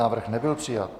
Návrh nebyl přijat.